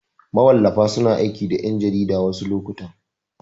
Mawallafa suna aiki da ƴan jarida wasu lokutan.